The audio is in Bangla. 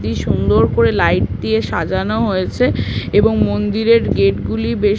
কি সুন্দর করে লাইট দিয়ে সাজানো হয়েছে এবং মন্দিরের গেট -গুলি বেশ--